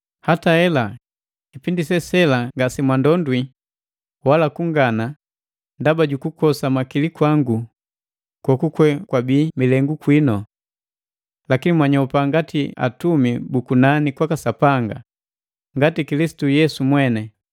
Hata hela, kipindi sela ngase mwandondwi wala kungana ndaba jukukosa makili kwangu goguwe wabii milengu kwinu. Lakini mwanyopa ngati atumi bu kunani kwaka Sapanga, ngati Kilisitu Yesu mweni.